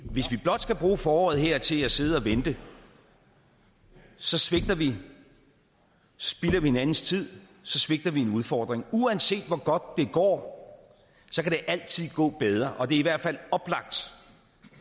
hvis vi blot skal bruge foråret her til at sidde og vente så svigter vi så spilder vi hinandens tid så svigter vi en udfordring uanset hvor godt det går kan det altid gå bedre og det er i hvert fald oplagt